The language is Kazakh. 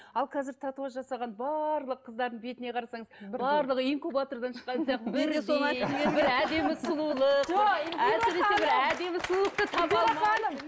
ал қазір татуаж жасаған барлық қыздардың бетіне қарасаңыз барлығы инкубатордан әдемі сұлулық